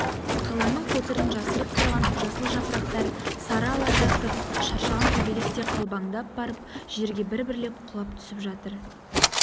қаланың қотырын жасырып тұрған жасыл жапырақтар сары ала тартып шаршаған көбелектей қалбаңдап барып жерге бір-бірлеп құлап түсіп жатыр